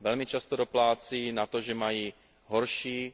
Velmi často doplácí na to, že mají horší